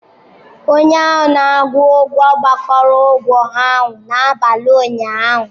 Onye a na-akwụ ụgwọ gbakọrọ ụgwọ ahụ n'abalị ụnyaahụ.